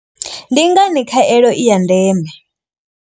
Ndi ngani khaelo i ya ndeme.